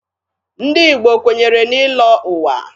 Ndị Igbo kwenyere n'ịlọ ụwa.